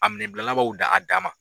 A minɛn bilalaw ba dan ma.